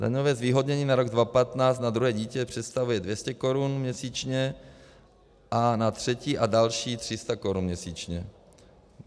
Daňové zvýhodnění na rok 2015 na druhé dítě představuje 200 korun měsíčně a na třetí a další 300 korun měsíčně.